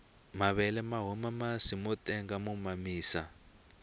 mavele mahuma masi motenga mo mamisa